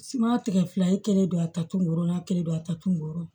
Siman tigɛ fila ye kelen don a ta tunna kelen don a ta tun